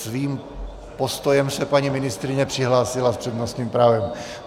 Svým postojem se paní ministryně přihlásila s přednostním právem.